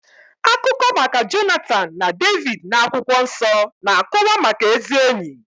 Akụkọ maka Jonatan na Devid n'akwụkwọ nsọ na-akọwa maka ezi ényì.